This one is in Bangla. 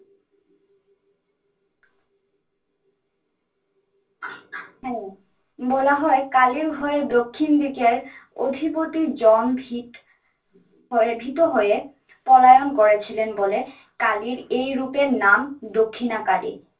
হ্যা বলা হয় কালির ভয়ে দক্ষিণ দিকের অধিপতি জম ভীত হয়ে ভীত হয়ে পলায়ন করেছিলেন বলে কালির এই রূপের নাম দক্ষিণা কালী।